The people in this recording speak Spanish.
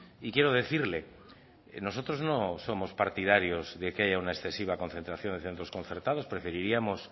y quiero decirle que nosotros nos somos partidarios de que haya una excesiva concentración en centro concertados preferiríamos